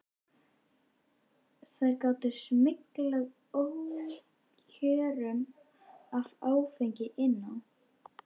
Þær gátu smyglað ókjörum af áfengi inn á skemmtistaðina.